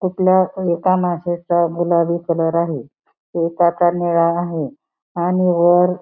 कुठल्या एका माश्याचा गुलाबी कलर आहे एकाच निळा आहे. आणि वर --